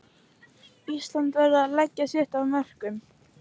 Ísland verður að leggja sitt af mörkum